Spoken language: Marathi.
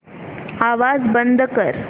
आवाज बंद कर